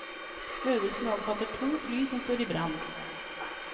Øvelsen omfatter to fly som står i brann.